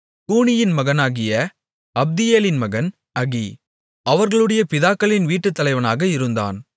கூனியின் மகனாகிய அப்தியேலின் மகன் அகி அவர்களுடைய பிதாக்களின் வீட்டுத் தலைவனாக இருந்தான்